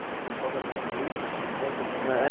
O pessoal já tem um grupo, que se encontra em algum lugar? Eh